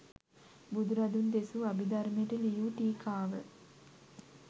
බුදුරදුන් දෙසූ අභිධර්මයට ලියූ ටීකාව